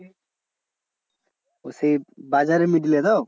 ও সেই বাজারের middle এ তো?